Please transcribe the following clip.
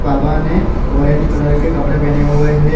बाबा ने orange colour के कपड़े पहने हुए हैं।